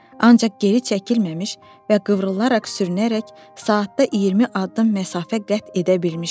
Ancaq geri çəkilməmiş və qıvrılaraq sürünərək saatda 20 addım məsafə qət edə bilmişdi.